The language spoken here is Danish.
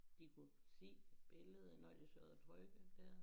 De kunne se billedet når de sad og trykkede dér